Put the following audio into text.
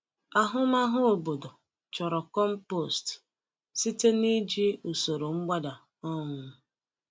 Ahụmahụ obodo chọrọ compost site n’iji usoro mgbada. um